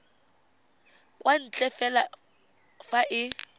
kwa ntle fela fa e